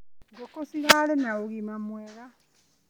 Ngũkũ cirarĩ na ũgima mwega.